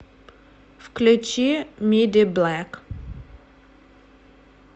включи мидиблэк